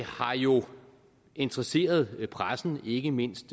har jo interesseret pressen ikke mindst